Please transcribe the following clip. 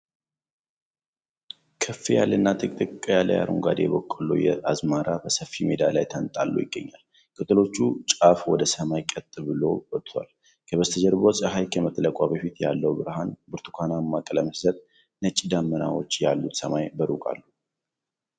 ከፍ ያለና ጥቅጥቅ ያለ የአረንጓዴ በቆሎ አዝመራ በሰፊ ሜዳ ላይ ተንጣሎ ይገኛል። የቅጠሎቹ ጫፍ ወደ ሰማይ ቀጥ ብለው ወጥተዋል። ከበስተጀርባ ፀሐይ ከመጥለቋ በፊት ያለው ብርሃን ብርቱካንማ ቀለም ሲሰጥ፣ ነጭ ደመናዎች ያሉት ሰማይ በሩቅ አለ።